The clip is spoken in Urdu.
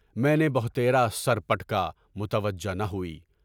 میں نے بہتیرے سر پٹکا، متوجہ نہ ہوئی۔